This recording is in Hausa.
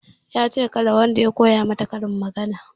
Yace kada wanda ya koya mata karin magana